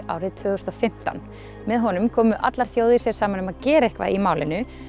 árið tvö þúsund og fimmtán með honum komu allar þjóðir sér saman um að gera eitthvað í málinu